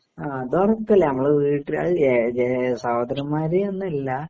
അതുറപ്പല്ലേ നമ്മളെ വീട്ടുകാര് ഏ ഏ സഹോദരന്മാര് എന്നല്ല